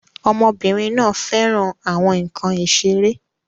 Ọmọbìnrin náà fẹ́ràn àwọn nkan ìṣeré